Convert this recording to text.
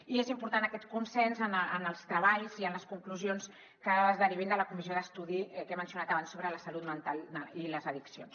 i és important aquest consens en els treballs i en les conclusions que es derivin de la comissió d’estudi que he mencionat abans sobre la salut mental i les addiccions